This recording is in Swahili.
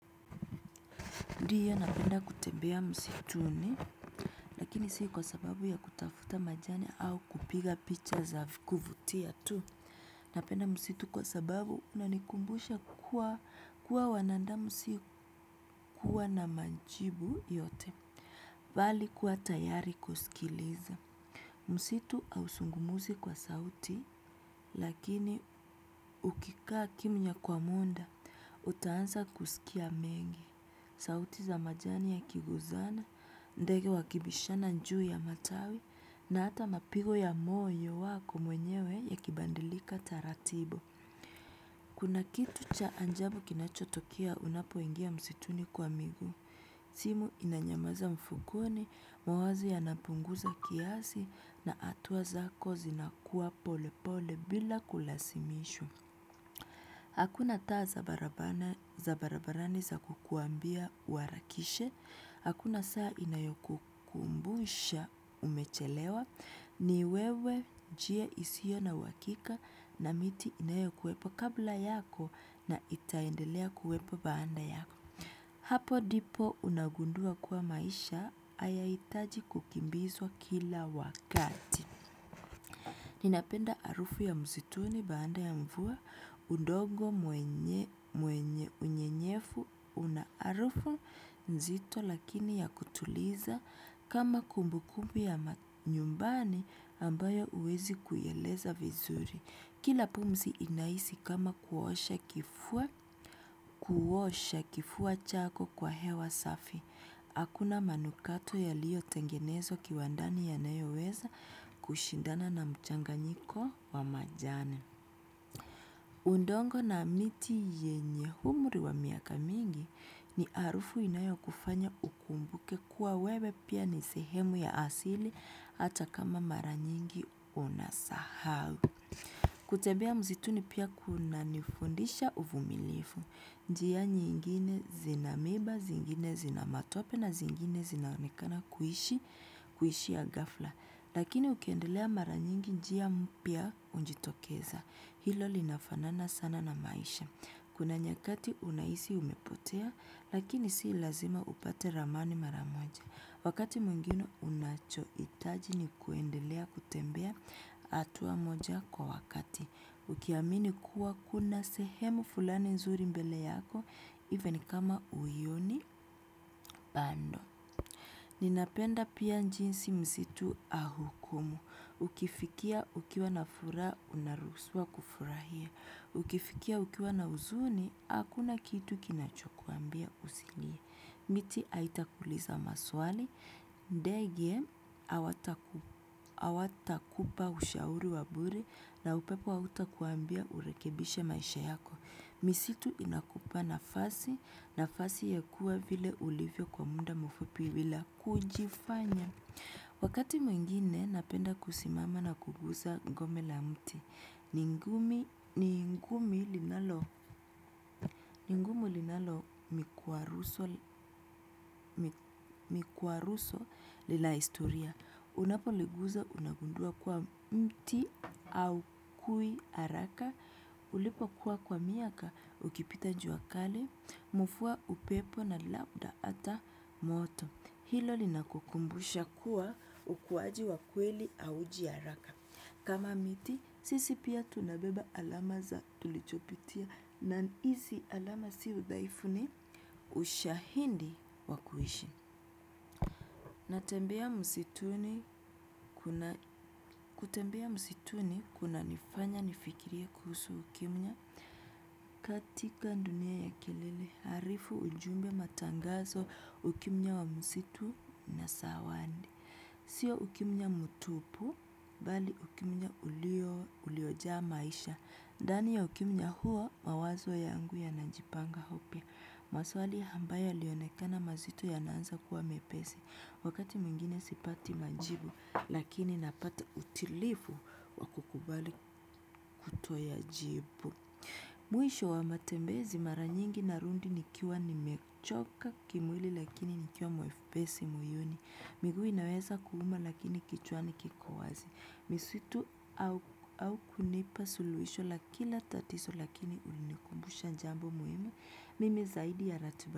Ndiyo napenda kutembea msituni, lakini si kwa sababu ya kutafuta majani au kupiga picha za kuvutia tu. Napenda msitu kwa sababu unanikumbusha kuwa, kuwa wanadamu si kuwa na majibu yote. Bali kuwa tayari kusikiliza. Msitu hausungumuzi kwa sauti, lakini ukikaa kimya kwa munda, utaansa kusikia mengi. Sauti za majani yakiguzana, ndege wakibishana juu ya matawi na hata mapigo ya moyo wako mwenyewe ya kibadilika taratibu. Kuna kitu cha ajabu kinachotokea unapoingia msituni kwa miguu. Simu inanyamaza mfukoni, mawazo yanapunguza kiasi na hatua zako zinakuwa pole pole bila kulasimishwa. Hakuna taa za barabarani za kukuambia uharakishe, hakuna saa inayokukumbusha umechelewa. Ni wewe njia isiyo na uhakika na miti inayokuwepo kabla yako na itaendelea kuwepo baada yako. Hapo dipo unagundua kuwa maisha hayahitaji kukimbizwa kila wakati. Ninapenda harufu ya msituni baada ya mvua, udongo mwenye unyenyefu, una harufu nzito lakini ya kutuliza kama kumbu kumbu ya nyumbani ambayo huwezi kuieleza vizuri. Kila pumzi inahisi kama kuosha kifua chako kwa hewa safi. Hakuna manukato yaliyotengenezwa kiwandani yanayoweza kushindana na mchanganyiko wa majani. Udongo na miti yenye humri wa miaka mingi, ni harufu inayokufanya ukumbuke kuwa wewe pia ni sehemu ya asili hata kama mara nyingi unasahau. Kutembea msituni pia kunanifundisha uvumilivu. Njia nyingine zina miba, zingine zina matope na zingine zinaonekana kuishi, kuishia ghafla. Lakini ukiendelea mara nyingi njia mpya hujitokeza. Hilo linafanana sana na maisha. Kuna nyakati unahisi umepotea, lakini si lazima upate ramani mara moja. Wakati mwingino unachohitaji ni kuendelea kutembea, hatua moja kwa wakati. Ukiamini kuwa kuna sehemu fulani nzuri mbele yako, even kama huioni bado. Ninapenda pia njinsi mzitu ahukumu. Ukifikia ukiwa na furaha, unaruhusiwa kufurahia. Ukifikia ukiwa na huzuni, hakuna kitu kinachokuambia usilie. Miti haitakuuliza maswali, ndege, hawatakupa ushauri wa bure na upepo hautakuambia urekebishe maisha yako. Misitu inakupa nafasi, nafasi ya kuwa vile ulivyo kwa muda mfupi bila kujifanya. Wakati mwingine, napenda kusimama na kuguza ngome la mti. Ni ngumi, ni ngumi linalo vikwaruzo vya historia. Unapoliguza unagundua kuwa mti haukui haraka. Ulipokuwa kwa miaka ukipita jua kali, mvua, upepo na labda hata moto. Hilo linakukumbusha kuwa ukuwaji wa kweli hauji haraka. Kama miti, sisi pia tunabeba alama za tulichopitia na hizi alama si udhaifu ni ushahidi wa kuishi. Natembea msituni kuna, kutembea msituni kunifanya nifikirie kuhusu ukimya katika dunia ya kelele. Harifu, ujumbe matangazo, ukimya wa msitu na sawadi. Sio ukimya mtupu, bali ukimya uliojaa maisha. Ndani ya ukimya huo mawazo yangu yanajipanga upya. Maswali hambayo yalionekana mazito yanaanza kuwa mepesi. Wakati mwingine sipati majibu, lakini napata utilivu wa kukubali kutoyajibu. Mwisho wa matembezi mara nyingi narundi nikiwa nimechoka kimwili lakini nikiwa mwepesi moyoni. Migui inaweza kuuma lakini kichwani kiko wazi. Misitu, au, au hunipa suluhisho lakini hunikumbusha jambo muhimu zaidi ya ratiba.